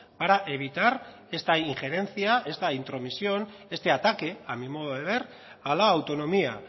para evitar esta injerencia esta intromisión este ataque a mi modo de ver a la autonomía